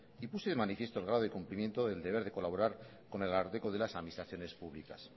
y puse de manifiesto el grado de cumplimiento del deber de colaborar con el ararteko de las administraciones públicas